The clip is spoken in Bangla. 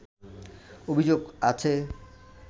অভিযোগ আছে